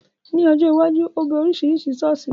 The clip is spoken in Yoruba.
Ní ọjọ́ iwájú, ó bẹ Oríṣiríṣi ṣọ̀ọ́sì wò.